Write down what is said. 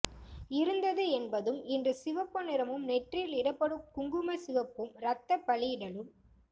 இருந்தது என்பதும் இன்றும் சிவப்பு நிறமும் நெற்றியில் இடப்படும் குங்குமச் சிவப்பும் ரத்தப் பலியிடலும்